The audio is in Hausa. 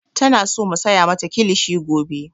Tana so mu saya mata kilishi gobe.